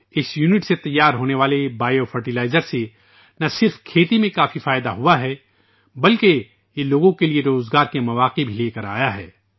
اس unit سے تیار کردہ بایو فرٹیلائزر سے نہ صرف کاشتکاری میں بہت فائدہ ہوا ہے بلکہ اس سے لوگوں کو روزگار کے مواقع بھی ملے ہیں